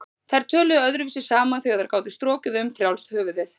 Þær töluðu öðruvísi saman þegar þær gátu strokið um frjálst höfuð.